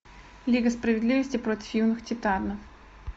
лига справедливости против юных титанов